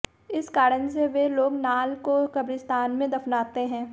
इस कारण से वे लोग नाल को कब्रिस्तान में दफनाते हैं